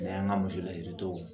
N' an ka muso lasiri tɔw